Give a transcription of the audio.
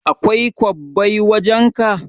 Akwai kwabbai wajan ka?